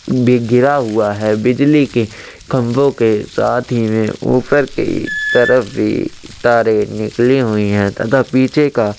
भी घिरा हुआ है बिजली के खम्बो के साथ ही में ऊपर के तरफ भी तारे निकले हुई है तथा पीछे का --